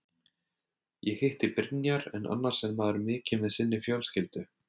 Ég hitti Brynjar en annars er maður mikið með sinni fjölskyldu.